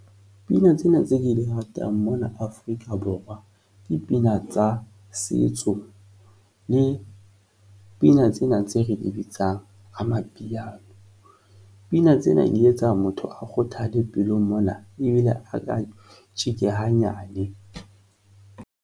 Pina tsena tse di ratang mona Afrika Borwa ke pina tsa setso, le pina tsena tse re di bitsang amapiano, pina tsena di etsa motho a kgothale pelong mona ebile a ka tjeke hanyane.